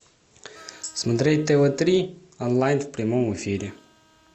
смотреть тв три онлайн в прямом эфире